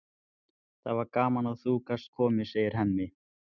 Það var gaman að þú gast komið, segir Hemmi.